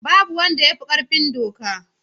Babu wanda ya fi ƙarfin doka.